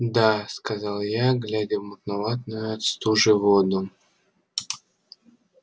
да сказал я глядя в мутноватую от стужи воду